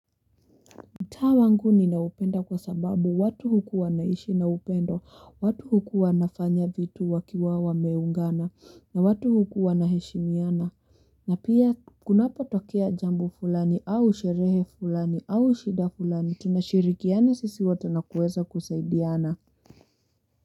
Mtaa wangu ni naupenda kwa sababu watu hukuwa naishi naupendo, watu hukuwa nafanya vitu wakiwa wameungana, na watu hukuwa naheshimiana, na pia kunapo tokea jambo fulani au sherehe fulani au shida fulani, tunashirikiana sisi watu na kuweza kusaidiana.